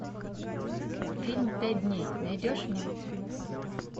фильм пять дней найдешь мне